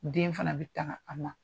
Den fana bɛ tanga an ma.